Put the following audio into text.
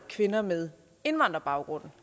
kvinder med indvandrerbaggrund